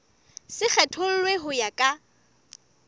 se kgethollwe ho ya ka